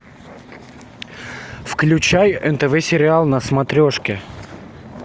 включай нтв сериал на смотрешке